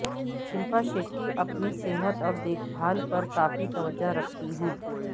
شلپا شیٹی اپنی صحت اور دیکھ بھال پر کافی توجہ رکھتی ہیں